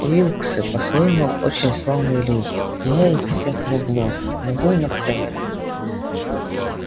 уилксы по-своему очень славные люди и я их всех люблю но будем откровенны